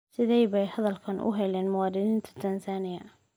Sidee bay hadalkan u heleen muwaadiniinta Tansaaniya?